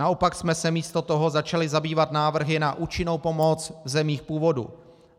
Naopak jsme se místo toho začali zabývat návrhy na účinnou pomoc v zemích původu.